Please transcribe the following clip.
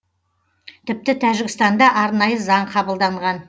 тіпті тәжікстанда арнайы заң қабылданған